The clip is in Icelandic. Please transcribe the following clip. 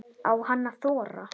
Á hann að þora?